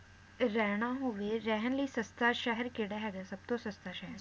ਰਹਿਣਾ ਹੋਵੇ, ਰਹਿਣ ਲਈ ਸਸਤਾ ਸ਼ਹਿਰ ਕੇਹੜਾ ਹੈਗਾ, ਸਬਤੋਂ ਸਸਤਾ ਸ਼ਹਿਰ?